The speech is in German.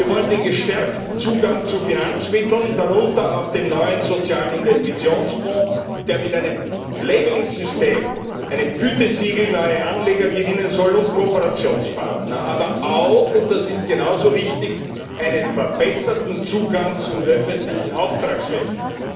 Wir wollen den verstärkten Zugang zu Finanzmitteln, darunter auch dem neuen sozialen Investitionsfonds, der mit einem Labeling System, einem Gütesiegel, neue Anleger gewinnen soll und Kooperationspartner, aber auch einen verbesserten Zugang zum öffentlichen Auftragswesen.